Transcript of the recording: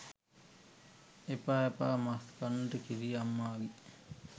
එපා එපා මස් කන්නට කිරි අම්මාගේ